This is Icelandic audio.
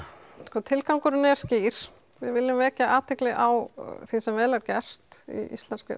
sko tilgangurinn er skýr við viljum vekja athygli á því sem vel er gert í íslenskri